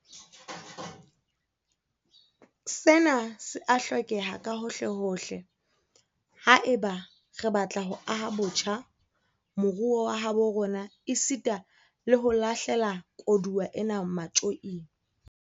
Sena se a hlokeha kahohlehohle haeba re batla ho aha botjha moruo wa habo rona esita le ho lahle la koduwa ena matjoing.